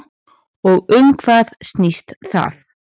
Og um hvað snýst það?